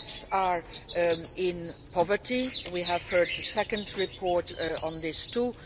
The gaps are in poverty we have heard the second report on this too.